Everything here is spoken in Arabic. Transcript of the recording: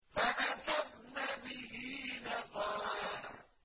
فَأَثَرْنَ بِهِ نَقْعًا